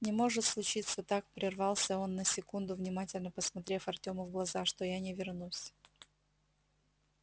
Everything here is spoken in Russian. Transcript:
не может случиться так прервался он на секунду внимательно посмотрев артему в глаза что я не вернусь